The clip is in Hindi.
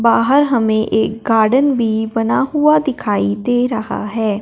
बाहर हमें एक गार्डन भी बना हुआ दिखाई दे रहा है।